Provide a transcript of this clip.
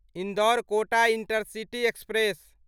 Indore Kota intercity express